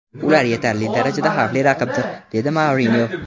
Ular yetarli darajada xavfli raqibdir”, dedi Mourinyo.